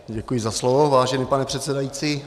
Děkuji za slovo, vážený pane předsedající.